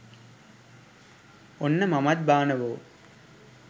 ඔන්න මමත් බානවෝ